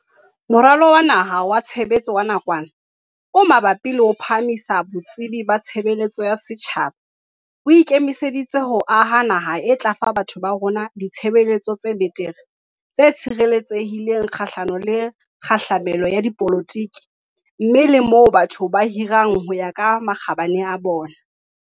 Moralo wa Naha wa Tshe betso wa Nakwana o Mabapi le ho Phahamisa Botsebi ba Tshebeletso ya Setjhaba o ike miseditse ho aha naha e tla fa batho ba rona ditshebeletso tse betere, tse tshireletsehi leng kgahlano le kgahlamelo ya dipolotiki mme le moo batho ba hirwang ho ya ka makgabane a bona.